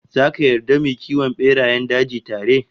Zaka yarda mu yi kiwon berayen daji tare?